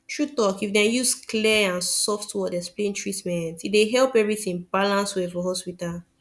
true talk if dem use clear and soft word explain treatment e dey help everything balance well for hospital